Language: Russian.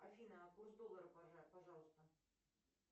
афина а курс доллара пожалуйста